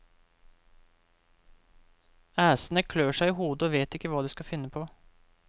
Æsene klør seg i hodet og vet ikke hva de skal finne på.